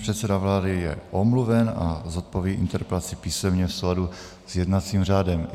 Předseda vlády je omluven a zodpoví interpelaci písemně v souladu s jednacím řádem.